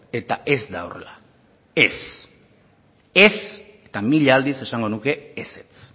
eta ez da horrela ez ez eta mila aldiz esango nuke ezetz